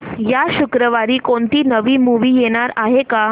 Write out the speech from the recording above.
या शुक्रवारी कोणती नवी मूवी येणार आहे का